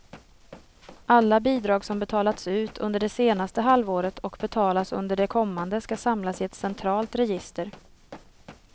Alla bidrag som betalats ut under det senaste halvåret och betalas under det kommande ska samlas i ett centralt register.